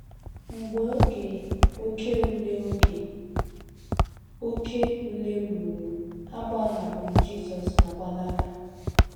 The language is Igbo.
Mgbe oge oké ule oge oké ule ruru, ha gbahapụrụ Jisọs ma gbalaga.